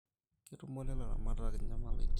Ketumore ilaramatak enyamalaratin